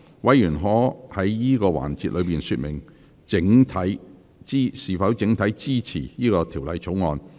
委員可在此環節說明是否整體支持《條例草案》。